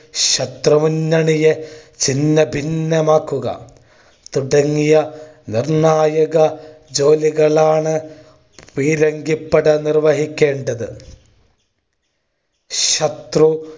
ശത്രു മുന്നണിയെ ചിന്നഭിന്നമാക്കുക തുടങ്ങിയ നിർണ്ണായക ജോലികളാണ് പീരങ്കിപ്പട നിർവഹിക്കേണ്ടത്. ശത്രു